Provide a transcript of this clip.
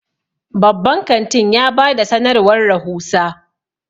babban kantin ya ba da sanarwar rahusa